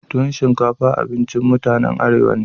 Tuwon shinkafa abincin mutanen Arewa ne.